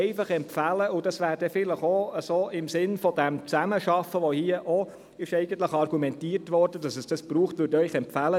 Ich empfehle Ihnen, im Sinne der Zusammenarbeit, für die hier auch schon argumentiert wurde, diese Anträge differenziert anzuschauen.